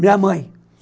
Minha mãe.